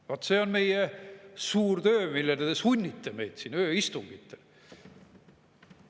Vaat see on meie suur töö, millele te sunnite meid siin ööistungitel.